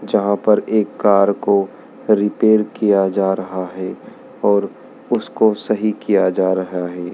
जहां पर एक कार को रिपेयर किया जा रहा है और उसको सही किया जा रहा है।